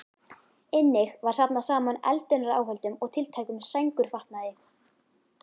Einnig var safnað saman eldunaráhöldum og tiltækum sængurfatnaði.